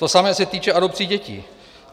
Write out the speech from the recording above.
To samé se týče adopcí dětí.